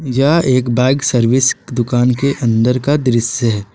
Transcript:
यह एक bike service दुकान के अंदर का दृश्य है।